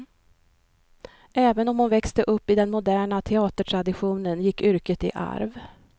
Även om hon växte upp i den moderna teatertraditionen gick yrket i arv.